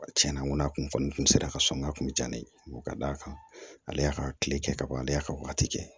Tiɲɛna n ko a kun fɔ nin tun sera ka sɔrɔ n ka kun bɛ diya ne ye ka d'a kan ale y'a ka kile kɛ ka ban ale y'a ka waati kɛ